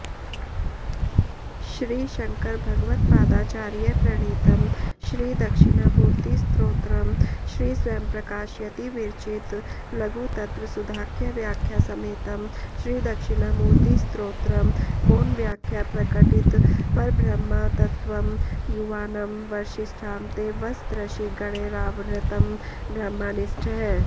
श्री शङ्करभगवत्पादाचार्यप्रणीतं श्री दक्षिणामूर्तिस्तोत्रम् श्री स्वयंप्रकाशयति विरचित लघुतत्त्वसुधाख्यव्याख्यासमेतम् श्री दक्षिणामूर्तिस्तोत्रम् मौनव्याख्याप्रकटितपरब्रह्मतत्त्वं युवानं वर्षिष्ठान्तेवसदृषिगणैरावृतं ब्रह्मनिष्ठैः